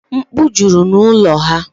Mkpu jụrụ n'ụlọ ha.